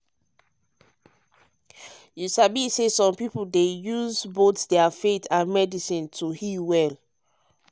you sabi ah some people dey use use both their faith and medicine um to heal well.